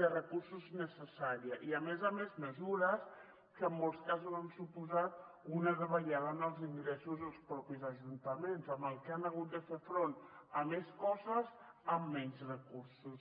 de recursos necessària i a més a més mesures que en molts casos han suposat una davallada en els ingressos dels mateixos ajuntaments amb la qual cosa han hagut de fer front a més coses amb menys recursos